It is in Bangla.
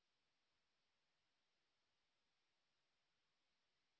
spoken hyphen tutorial dot org slash NMEICT hyphen intro